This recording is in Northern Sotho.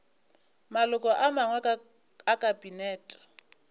maloko a mangwe a kabinete